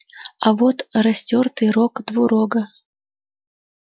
а вот растёртый рог двурога